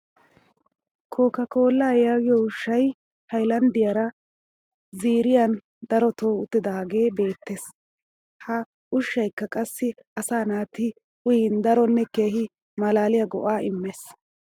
Coca colaa yaagiyo ushshay hayilanddiyaara ziiriyan dooretti uttiidaagee beettes. Ha ushshayikka qassi asaa naati uyin daronne keehi malaaliya go'aa immees.